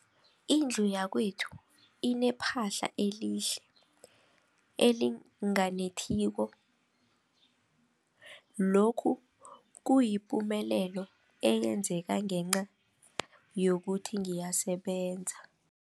Indlu yakwethu inephahla elihle, elinganetheliko, lokhu kuyipumelelo eyenzeke ngenca yokuthi ngiyasebenza.